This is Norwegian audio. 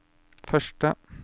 første